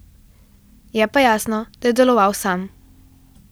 Je pa jasno, da je deloval sam.